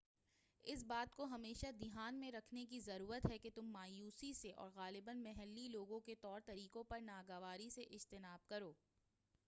اس بات کو ہمیشہ دھیان میں رکھنے کی ضرورت ہے کہ تم مایوسی سے اور غالباً محلّی لوگوں کے طور طریقوں پر ناگواری سے اجتناب کرو